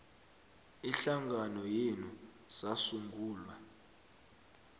ihlangano yenu sasungulwa